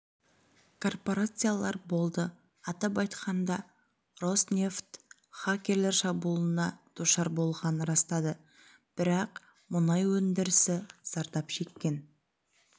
корпорациялар болды атап айтқанда роснефть хакерлер шабуылына душар болғанын растады бірақ мұнай өндірісі зардап шеккен